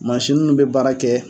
Mansini mun bɛ baara kɛ